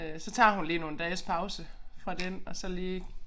Øh så tager hun lige nogle dages pause fra den og så lige